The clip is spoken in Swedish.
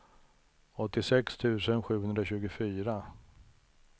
åttiosex tusen sjuhundratjugofyra